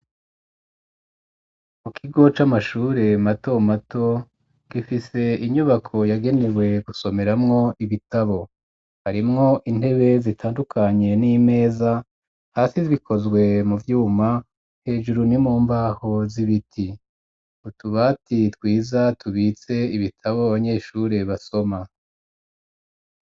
Mu kigo c'amashure mato mato gifise inyubako yagenewe gusomeramwo ibitabo harimwo intebe zitandukanye n'imeza hasi zikozwe mu byuma hejuru ni mu mbaho z'ibiti utubati twiza tubitse ibitabo banyeshure basoma